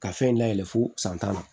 Ka fɛn dayɛlɛ fo san tan na